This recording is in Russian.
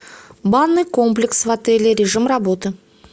банный комплекс в отеле режим работы